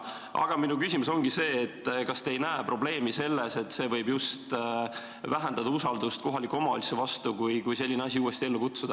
Aga minu küsimus ongi see, kas te ei näe probleemi selles, et see võib just vähendada usaldust kohaliku omavalitsuse vastu, kui selline asi uuesti ellu kutsuda.